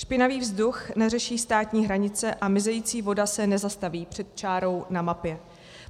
Špinavý vzduch neřeší státní hranice a mizející voda se nezastaví před čárou na mapě.